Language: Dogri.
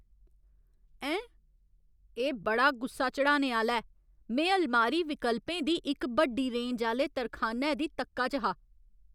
ऐं? एह् बड़ा गुस्सा चढ़ाने आह्‌ला ऐ! में अलमारी विकल्पें दी इक बड्डी रेंज आह्‌ले तरखानै दी तक्का च हा।